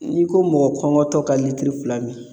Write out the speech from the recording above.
N'i ko mɔgɔ kɔngɔtɔ ka litiri fila min